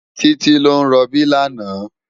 Titi ló n ròbí làná